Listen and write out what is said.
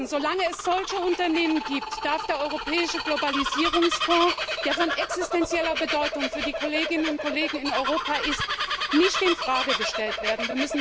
Solange es solche Unternehmen gibt, darf der Europäische Globalisierungsfonds, der von existenzieller Bedeutung für die Kolleginnen und Kollegen in Europa ist, nicht in Frage gestellt werden.